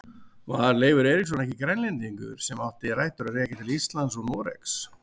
Var Leifur Eiríksson ekki Grænlendingur sem átti rætur að rekja til Íslands og Noregs?